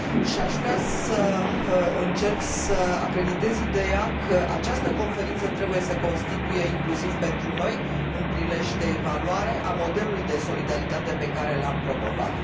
Aș vrea să încerc să acreditez ideea că această conferință trebuie să constituie, inclusiv pentru noi, un prilej de evaluare a modelului de solidaritate pe care l am promovat.